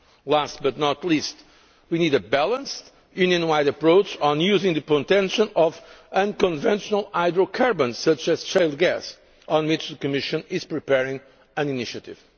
Last but not least, we need a balanced, Union wide approach on using the potential of unconventional hydrocarbons, such as shale gas, on which the Commission is preparing an initiative.